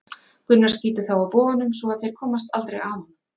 Gunnar skýtur þá af boganum svo að þeir komast aldrei að honum.